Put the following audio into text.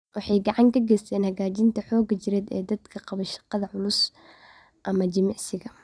Waxay gacan ka geysataa hagaajinta xoogga jireed ee dadka qaba shaqada culus ama jimicsiga.